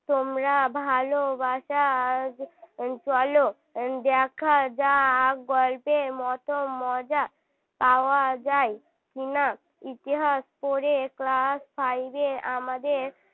তোমরা ভালোবাসা চলো দেখা যাক গল্পের মতো মজা পাওয়া যায় কি না ইতিহাস পড়ে class five এ আমাদের